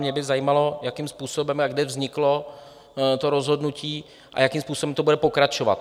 Mě by zajímalo, jakým způsobem a kde vzniklo to rozhodnutí a jakým způsobem to bude pokračovat.